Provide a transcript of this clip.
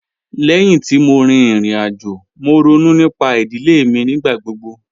Lẹ́hin tí mo rí ìrìn-àjò, mo rònú nípà idilẹ̀ mi nígbàgbọ̀gbọ̀.